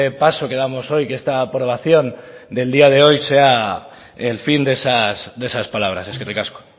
paso que damos hoy que esta aprobación del día de hoy sea el fin de esas palabras eskerrik asko